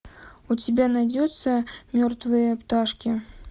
у тебя найдется мертвые пташки